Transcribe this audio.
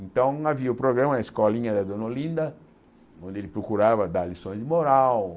Então havia o programa Escolinha da Dona Olinda, onde ele procurava dar lições de moral.